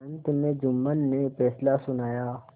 अंत में जुम्मन ने फैसला सुनाया